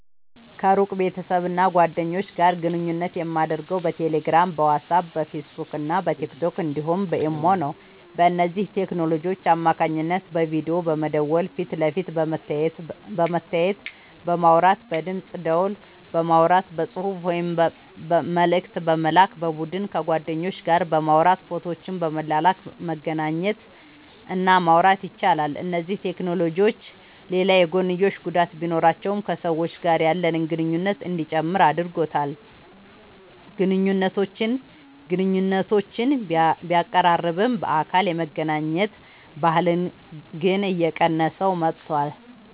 ከሩቅ ቤተሰብና ጓደኞች ጋር ግንኙነት የማደርገው በቴሌግራም፣ በዋትስአፕ፣ በፌስቡክና በቲክቶክ እንዲሁም በኢሞ ነው። በእነዚህ ቴክኖሎጂዎች አማካኝነት በቪዲዮ በመደወል ፊት ለፊት በመተያየትና በማውራት፣ በድምፅ ደወል በማውራት፣ በጽሑፍ ወይም መልእክት በመላክ፣ በቡድን ከጓደኞች ጋር በማውራት ፎቶዎችን በመላላክ መገናኘት እና ማውራት ይቻላል። እነዚህ ቴክኖሎጂዎች ሌላ የጐንዮሽ ጉዳት ቢኖራቸውም ከሰዎች ጋር ያለንን ግንኙነት እንዲጨምር አድርጎታል። ግንኙነቶችን ቢያቀራርብም፣ በአካል የመገናኘት ባህልን ግን እየቀነሰው መጥቷል።